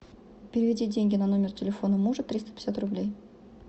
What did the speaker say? переведи деньги на номер телефона мужа триста пятьдесят рублей